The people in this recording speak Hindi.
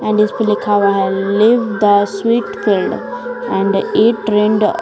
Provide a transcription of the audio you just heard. और लिखा हुआ है live the sweet field and it rained.